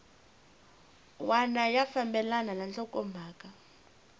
wana ya fambelana na nhlokomhaka